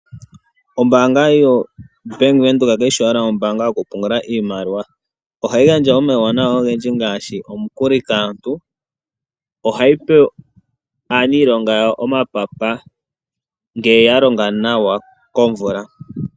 Ombaanga yaWindhoek kayi shi owala yokupungula iimaliwa. Ohayi gandja omauwanawa ogendji ngaashi omikuli. Ohayi pe aaniilonga omapapa ngele yalonga nawa komvula.